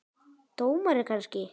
Dómari kannski?